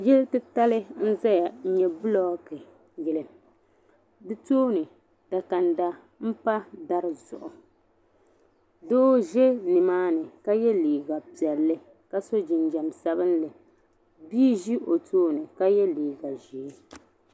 Yili titali n ʒiya n nyɛ bulookiyili di tooni dakanda m pa dari zuɣu doo za nimaani ka ye liiga piɛlli ka so jinjam sabinli bia n ʒi o tooni ka ye liiga ʒee.